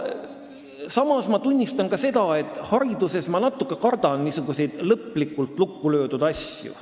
" Samas tunnistan, et hariduses ma natuke kardan niisuguseid lõplikult lukku löödud asju.